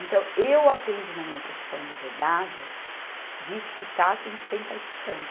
Então, eu aprendi na minha profissão de bordado de escutar sem, sem estar escutando.